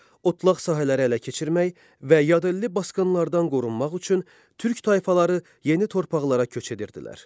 Otlaq sahələri ələ keçirmək və yadelli basqınlardan qorunmaq üçün türk tayfaları yeni torpaqlara köç edirdilər.